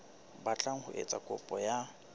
batlang ho etsa kopo ya